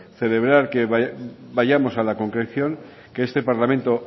celebrar que vayamos a la concreción que este parlamento